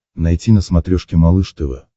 найти на смотрешке малыш тв